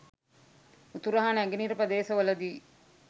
උතුරු හා නැගෙනහිර ප්‍රදේශවලදී